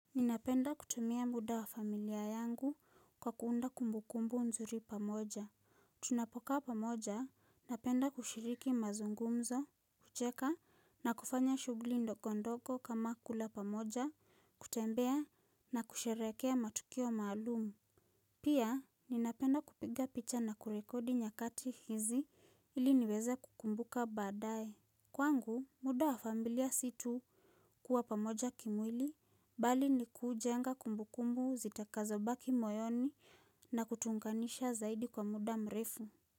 Ninapenda kutumia muda wa familia yangu kwa kuunda kumbukumbu nzuri pamoja. Tunapokaa pamoja, napenda kushiriki mazungumzo, kucheka na kufanya shughuli ndogo ndogo kama kula pamoja, kutembea na kusherehekea matukio maalum. Pia, ninapenda kupiga picha na kurekodi nyakati hizi ili niweze kukumbuka baadaye. Kwangu, muda wa familia si tu kuwa pamoja kimwili, bali ni kuujenga kumbu kumbu zitakazobaki moyoni na kutu unganisha zaidi kwa muda mrefu.